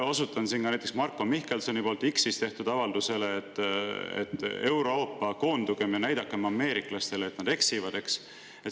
Osutan siin näiteks ka Marko Mihkelsoni X‑is tehtud avaldusele, et, Euroopa, koondugem ja näidakem ameeriklastele, et nad eksivad.